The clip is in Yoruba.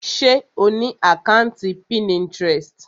Ṣe o ni àkàntí Pinterest?